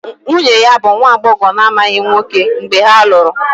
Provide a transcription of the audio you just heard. Nwunye ya bụ nwa agbọghọ na-amaghị nwoke mgbe ha lụrụ